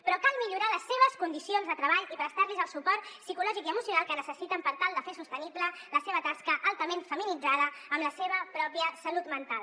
però cal millorar les seves condicions de treball i prestar los el suport psicològic i emocional que necessiten per tal de fer sostenible la seva tasca altament feminitzada amb la seva pròpia salut mental